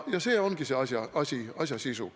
Ja see ongi asja sisu.